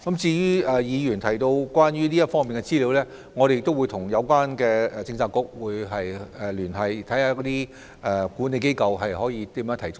至於議員提到的有關方面的資料，我們也會跟相關政策局聯繫，看看如何提供。